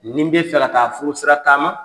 Nin be fɛ ka taa furusira taama